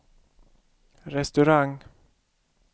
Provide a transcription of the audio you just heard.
restaurang